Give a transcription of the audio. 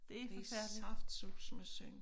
Det saftsuseme synd